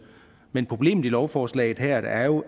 men problemet i lovforslaget her er jo